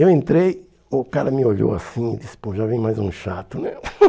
Eu entrei, o cara me olhou assim e disse, pô, já vem mais um chato, né?